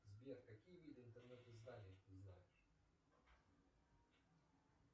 сбер какие виды интернет изданий ты знаешь